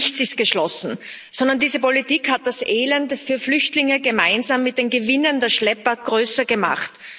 Nichts ist geschlossen, sondern diese Politik hat das Elend für Flüchtlinge gemeinsam mit den Gewinnen der Schlepper größer gemacht.